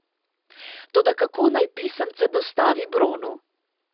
Toda kako naj pisemce dostavi Bronu?